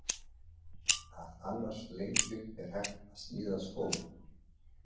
Af annars lengju er hægt að sníða skó.